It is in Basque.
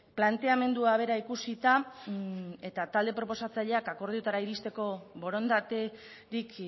planteamendua bera ikusita eta talde proposatzaileak akordioetara iristeko borondaterik